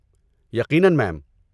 یقیناً، میم۔